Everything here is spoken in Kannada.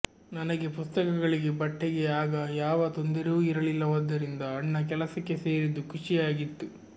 ನನಗೆ ಪುಸ್ತಕಗಳಿಗೆ ಬಟ್ಟೆಗೆ ಆಗ ಯಾವ ತೊಂದರೆಯೂ ಇರಲಿಲ್ಲವಾದ್ದರಿಂದ ಅಣ್ಣ ಕೆಲಸಕ್ಕೆ ಸೇರಿದ್ದು ಖುಷಿಯೇ ಆಗಿತ್ತು